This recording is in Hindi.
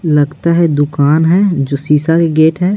लगता है दुकान है जो शीशा के गेट है।